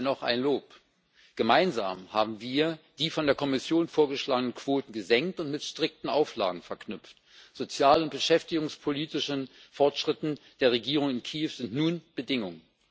Dennoch ein Lob Gemeinsam haben wir die von der Kommission vorgeschlagenen Quoten gesenkt und mit strikten Auflagen verknüpft. Sozial und beschäftigungspolitische Fortschritte der Regierung in Kiew sind nun Bedingung.